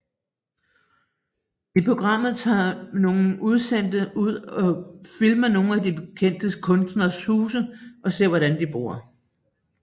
I programmet tager nogle udsendte ud og filmer nogle af de kendte kunstneres huse og ser hvordan de bor